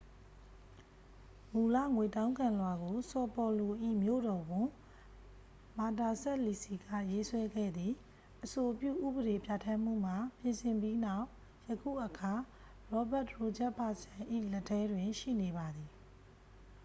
မူလ ငွေတောင်းခံလွှာကို ဆော်ပေါ်လို၏ မြို့တော်ဝန် မာတာစပ်လီစီ က ရေးဆွဲခဲ့သည် အဆိုပြု ဥပဒေပြဋ္ဌာန်းမှုမှာ ပြင်ဆင်ပြီးနောက် ယခုအခါ ရောဘတ်တရိုဂျက်ဖာစန် ၏ လက်ထဲတွင် ရှိနေပါသည်